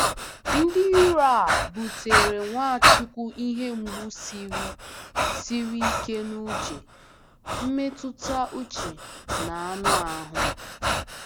Ndị iro a butere Nwachukwu ihe mgbu siri siri ike n'uche, mmetụta uche, na anụ ahụ.